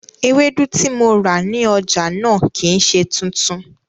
Ewédú tí mo rà ní ọjà náà kìí ṣe tuntun